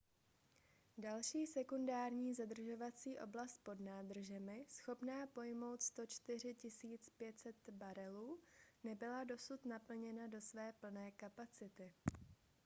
další sekundární zadržovací oblast pod nádržemi schopná pojmout 104 500 barelů nebyla dosud naplněna do své plné kapacity